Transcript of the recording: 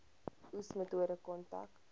oes metode kontrak